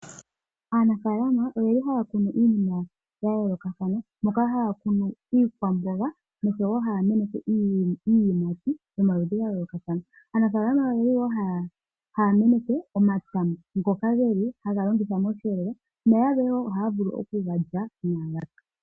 Aanafalama oyeli haya kunu iinima ya yoolokathana, moka haya kunu iikwamboga noshowo naya meneke iiyimati yomaludhi ga yoolokathana. Aanafalama oyeli wo haya meneke omatama ngaka geli haga longithwa moshihelelwa na yalwe wo ohaya vulu oku ga lya inaa ga pya.